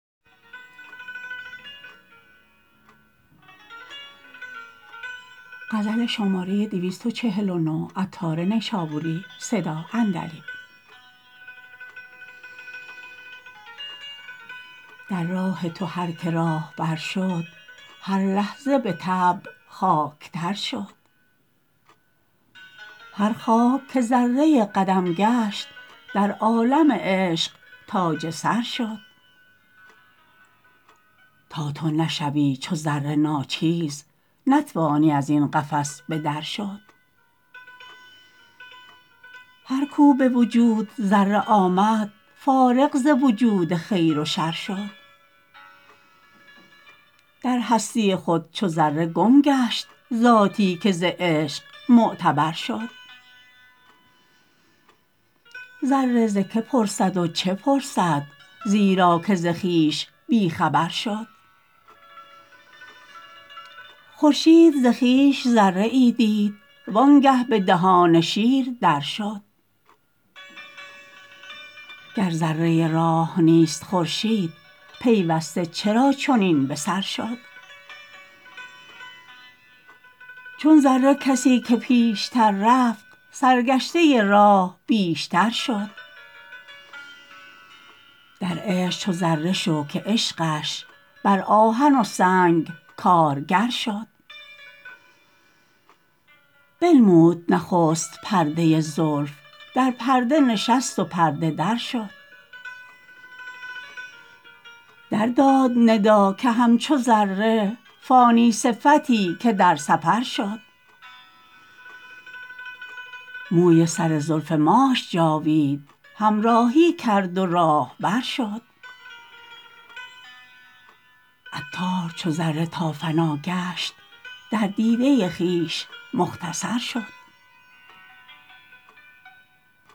در راه تو هر که راهبر شد هر لحظه به طبع خاک تر شد هر خاک که ذره قدم گشت در عالم عشق تاج سر شد تا تو نشوی چو ذره ناچیز نتوانی ازین قفس به در شد هر کو به وجود ذره آمد فارغ ز وجود خیر و شر شد در هستی خود چو ذره گم گشت ذاتی که ز عشق معتبر شد ذره ز که پرسد و چه پرسد زیرا که ز خویش بی خبر شد خورشید ز خویش ذره ای دید وآنگه به دهان شیر در شد گر ذره راه نیست خورشید پیوسته چرا چنین به سر شد چون ذره کسی که پیشتر رفت سرگشته راه بیشتر شد در عشق چو ذره شو که عشقش بر آهن و سنگ کارگر شد بنمود نخست پرده زلف در پرده نشست و پرده در شد درداد ندا که همچو ذره فانی صفتی که در سفر شد موی سر زلف ماش جاوید همراهی کرد و راهبر شد عطار چو ذره تا فنا گشت در دیده خویش مختصر شد